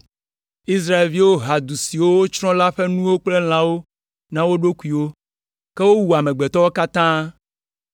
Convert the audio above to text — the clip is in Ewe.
Israelviwo ha du siwo wotsrɔ̃ la ƒe nuwo kple lãwo na wo ɖokuiwo, ke wowu amegbetɔwo katã,